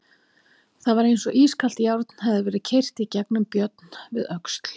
Það var eins og ískalt járn hefði verið keyrt í gegnum Björn við öxl.